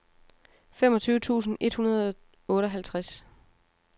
femogtyve tusind et hundrede og otteoghalvtreds